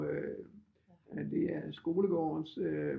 Det er skolegårdens øh